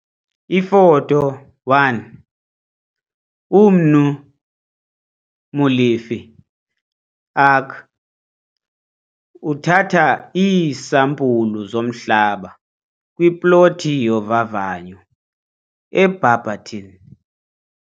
Ifoto 1- UMnu Molefe, ARC, uthatha iisampulu zomhlaba kwiplothi yovavanyo eBarberton.